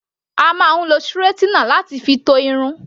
A máa ń lo straightener láti fi to Irun.